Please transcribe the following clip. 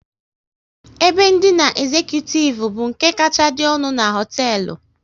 Ebe ndina ezecutivu bụ nke kacha dị ọnụ na hoteelu